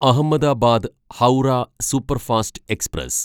Ahmedabad Howrah superfast express